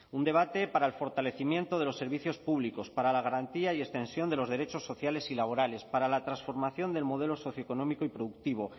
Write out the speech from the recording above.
un debate para el fortalecimiento de los servicios públicos para la garantía y extensión de los derechos sociales y laborales para la transformación del modelo socioeconómico y productivo